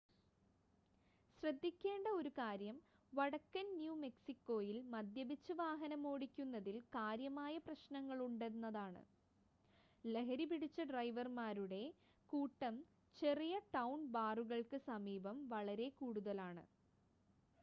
ശ്രദ്ധിക്കേണ്ട ഒരു കാര്യം വടക്കൻ ന്യൂ മെക്സിക്കോയിൽ മദ്യപിച്ച് വാഹനമോടിക്കുന്നതിൽ കാര്യമായ പ്രശ്‌നങ്ങളുണ്ടെന്നതാണ് ലഹരിപിടിച്ച ഡ്രൈവർമാരുടെ കൂട്ടം ചെറിയ-ടൗൺ ബാറുകൾക്ക് സമീപം വളരെ കൂടുതലാണ്